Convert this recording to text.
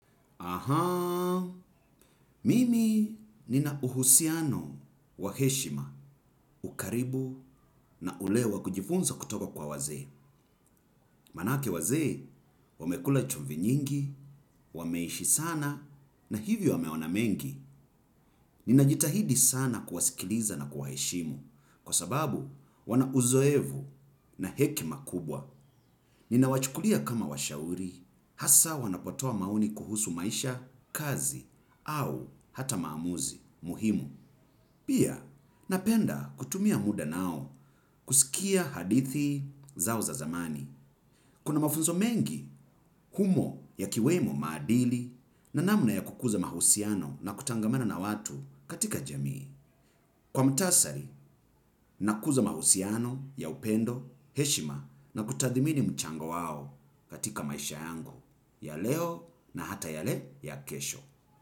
Ahaa. Mimi nina uhusiano wa heshima, ukaribu na ulewa kujifunza kutoka kwa wazee. Manake waze, wamekula chumvi nyingi, wameishi sana na hivyo wameona mengi. Ninajitahidi sana kuwasikiliza na kuwaheshimu. Kwa sababu, wana uzoevu na hekima kubwa. Nina wachukulia kama washauri. Hasa wanapotoa maoni kuhusu maisha kazi au hata maamuzi muhimu. Pia napenda kutumia muda nao kuskia hadithi zao za zamani. Kuna mafunzo mengi humo yakiwemo maqdili na namna ya kukuza mahusiano na kutangamana na watu katika jamii. Kwa mtasari, nakuza mahusiano ya upendo, heshima na kutathimini mchango wao katika maisha yangu. Ya leo na hata yale ya kesho.